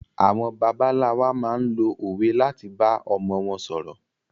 Àwọn bàbá ńlá wa máa ń lo òwe láti bá ọmọ wọn ṣòro.